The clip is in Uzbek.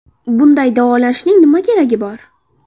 Bunday davolashning nima keragi bor?.